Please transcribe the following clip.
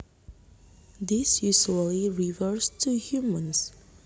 This usually refers to humans